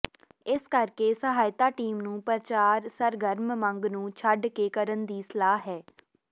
ਇਸ ਕਰਕੇ ਸਹਾਇਤਾ ਟੀਮ ਨੂੰ ਪ੍ਰਚਾਰ ਸਰਗਰਮ ਮੰਗ ਨੂੰ ਛੱਡ ਕੇ ਕਰਨ ਦੀ ਸਲਾਹ ਹੈ